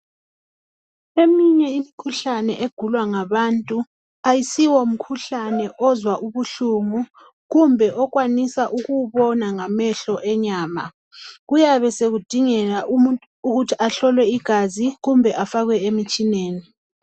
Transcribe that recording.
Eminye imikhuhlane egulwa ngabantu ayisiwomkhuhlane ozwa ubuhlungu kumbe okwanisa ukuwubona ngamehlo enyama kuyabe sekudingeka umuntu ukuthi ahlolwe igazi kumbe afakwe emtshineni.